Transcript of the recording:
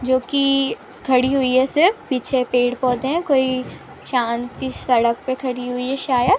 जो की खड़ी हुई है सिर्फ पिछे पेड़ पौधे है कोई शांत सड़क पर खड़ी हुई है शायद ।